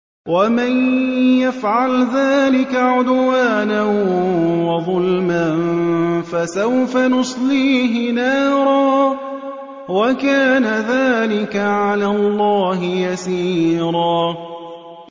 وَمَن يَفْعَلْ ذَٰلِكَ عُدْوَانًا وَظُلْمًا فَسَوْفَ نُصْلِيهِ نَارًا ۚ وَكَانَ ذَٰلِكَ عَلَى اللَّهِ يَسِيرًا